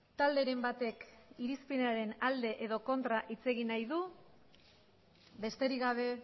talderen batek irizpidearen alde edo kontra hitz egin nahi du besterik gabe